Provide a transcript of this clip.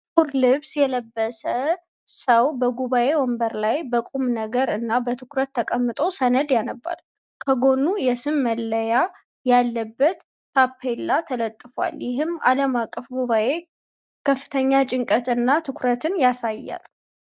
ጥቁር ልብስ የለበሰ ሰው በጉባኤ ወንበር ላይ በቁምነገር እና በትኩረት ተቀምጦ ሰነድ ያነባል። ከጎኑ የስም መለያ ያለበት ታፔላ ተለጥፏል፤ ይህም የዓለም አቀፍ ጉባኤን ከፍተኛ ጭንቀት እና ትኩረት ያሳያል።